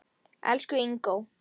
Elsku Ingó.